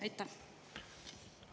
Aitäh!